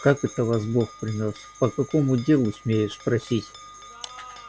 как это вас бог принёс по какому делу смею спросить